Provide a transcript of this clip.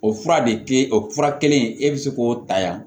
O fura de kɛ o fura kelen in e bɛ se k'o ta yan